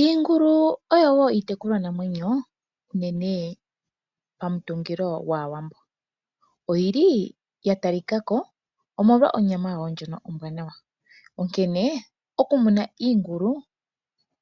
Iingulu oyo wo iitekulwa namwenyo unene momuthigululwakalo gwAawambo. Oyi li ya talika ko omolwa onyama yawo ndjoka ombwanawa, onkene okumuna iingulu